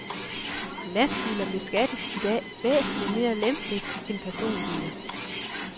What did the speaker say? Lastbiler beskattes i dag væsentligt mere lempeligt end personbiler.